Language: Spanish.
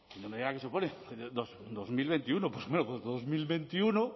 no me diga que se opone dos mil veintiuno bueno pues dos mil veintiuno